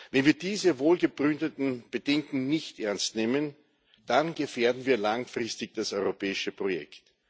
Wenn wir diese wohlbegründeten Bedenken nicht ernst nehmen, dann gefährden wir langfristig das europäische Projekt.